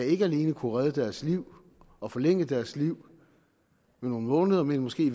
ikke alene kunne redde deres liv og forlænge deres liv med nogle måneder men måske i